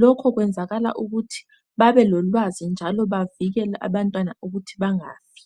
Lokhu kwenzakala ukuthi babelolwazi njalo bavikele abantwana ukuthi bangafi.